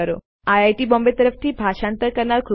ખાતરી કરો કે તમે ફ્પેકેડમી પર સબ્સ્ક્રાઇબ કરો છો